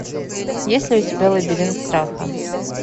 есть ли у тебя лабиринт страха